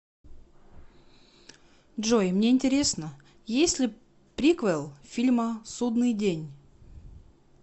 джой мне интересно есть ли приквел фильма судныи день